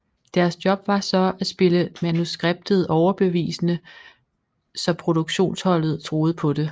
Deres job var så at spille manuskriptet overbevisende så produktionsholdet troede på det